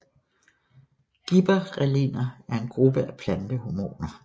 Gibberrelliner er en gruppe af plantehormoner